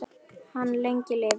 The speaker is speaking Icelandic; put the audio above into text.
Hann lengi lifi.